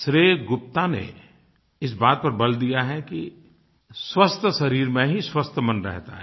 श्रेय गुप्ता ने इस बात पर बल दिया है कि स्वस्थ शरीर में ही स्वस्थ मन रहता है